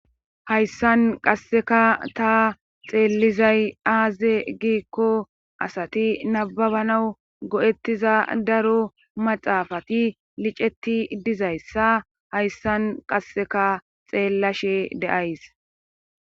hayssan qasseka ta xeellizay aaze giikko asati nababanaw go7ettiza daro maxaafati liceti dizayssa hayssan qasseka xeellashe deays